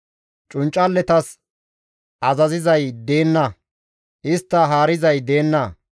Cunccalletas azazizay deenna; istta haarizay deenna.